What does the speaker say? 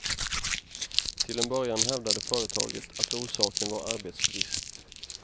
Till en början hävdade företaget att orsaken var arbetsbrist.